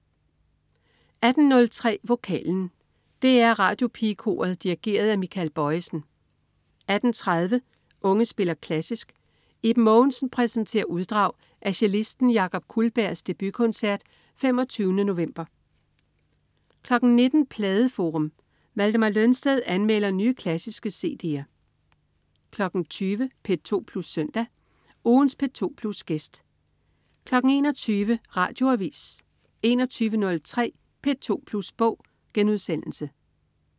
18.03 Vokalen. DR Radiopigekoret dirigeret af Michael Bojesen 18.30 Unge spiller klassisk. Iben Mogensen præsenterer uddrag af cellisten Jakob Kullbergs debutkoncert 25. november 19.00 Pladeforum. Valdemar Lønsted anmelder nye, klassiske cd'er 20.00 P2 Plus Søndag. Ugens P2 Plus-gæst 21.00 Radioavis 21.03 P2 Plus Bog*